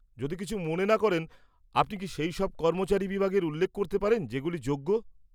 যদি কিছু মনে না করেন, আপনি কি সেই সব কর্মচারী বিভাগের উল্লেখ করতে পারেন যেগুলি যোগ্য?